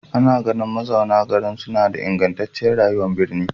Ana ganin mazauna garin suna da ingantacciyar rayuwar birni.